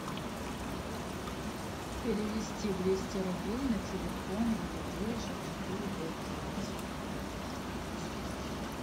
перевести двести рублей на телефон девять девять шесть четыре пять девять